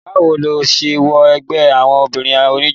bá wo ló se wọ ẹgbẹ́ àwọn obìnrin oníjó?